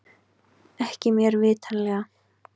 Ekki mér vitanlega